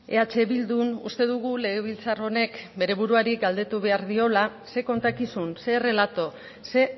eh bildun uste dugu legebiltzar honek bere buruari galdetu behar diola ze kontakizun ze errelato ze